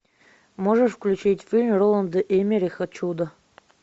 можешь включить фильм роланда эммериха чудо